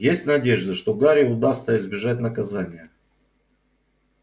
есть надежда что гарри удастся избежать наказания